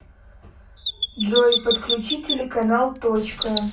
джой подключи телеканал точка